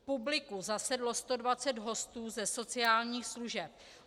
V publiku zasedlo 120 hostů ze sociálních služeb.